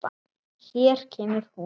Hér kemur hún.